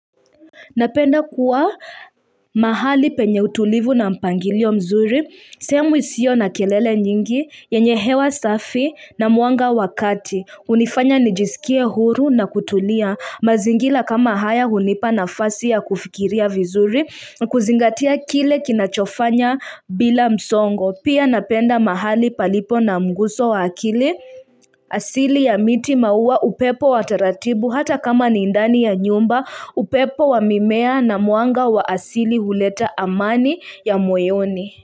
Napenda kuwa mahali penye utulivu na mpangilio mzuri, sehemu isio na kelele nyingi, yenye hewa safi na mwanga wakati, hunifanya nijisikie huru na kutulia, mazingila kama haya hunipa nafasi ya kufikiria vizuri, kuzingatia kile kinachofanya bila msongo. Pia napenda mahali palipo namguso wa akili asili ya miti maua upepo wa taratibu hata kama ni ndani ya nyumba upepo wa mimea na mwanga wa asili huleta amani ya moyoni.